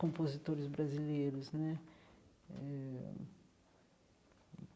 Compositores brasileiros né eh.